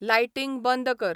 lighting बंद कर